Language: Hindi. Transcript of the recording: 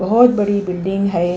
बहोत बड़ी बिल्डिंग है।